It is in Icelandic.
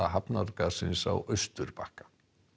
hafnargarðsins á Áusturbakka